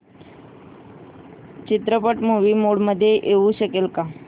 चित्रपट movie mode मध्ये येऊ शकेल का